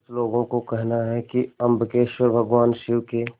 कुछ लोगों को कहना है कि अम्बकेश्वर भगवान शिव के